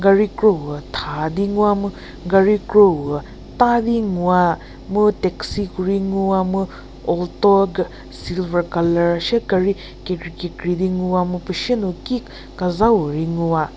Gari kropu thadi nguwa mu gari kropu tadi nguwa mu taxi kori nguwa mu alto gari silver color shie gari kekri kekri di ngwa mu pushenu ki kazha puo ri nguwa.